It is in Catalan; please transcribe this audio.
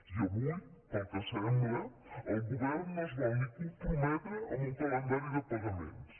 i avui pel que sembla el govern no es vol ni comprometre amb un calendari de pagaments